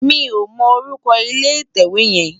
Mi ó mò órúkò ilé itèwé yèn